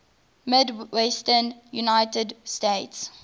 midwestern united states